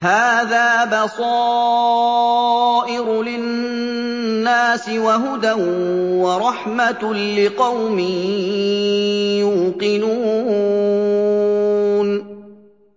هَٰذَا بَصَائِرُ لِلنَّاسِ وَهُدًى وَرَحْمَةٌ لِّقَوْمٍ يُوقِنُونَ